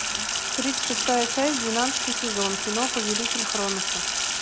тридцать шестая часть двенадцатый сезон кино повелитель хроноса